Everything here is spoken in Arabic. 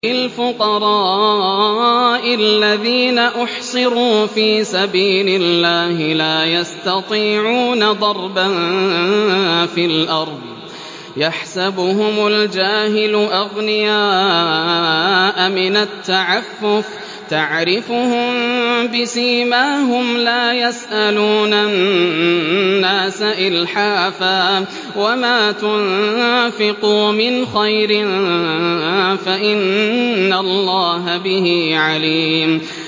لِلْفُقَرَاءِ الَّذِينَ أُحْصِرُوا فِي سَبِيلِ اللَّهِ لَا يَسْتَطِيعُونَ ضَرْبًا فِي الْأَرْضِ يَحْسَبُهُمُ الْجَاهِلُ أَغْنِيَاءَ مِنَ التَّعَفُّفِ تَعْرِفُهُم بِسِيمَاهُمْ لَا يَسْأَلُونَ النَّاسَ إِلْحَافًا ۗ وَمَا تُنفِقُوا مِنْ خَيْرٍ فَإِنَّ اللَّهَ بِهِ عَلِيمٌ